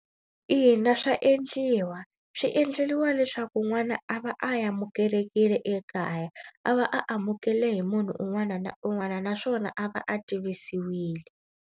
Ina swa endliwa swi endleriwa leswaku n'wana a va a amukelekile ekaya. A va a amukele hi munhu un'wana na un'wana naswona a va a tivisiwile.